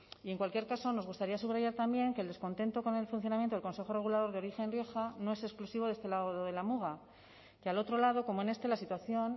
y en cualquier caso nos gustaría subrayar también que el descontento con el funcionamiento del consejo regulador de origen rioja no es exclusivo de este lado de la muga que al otro lado como en este la situación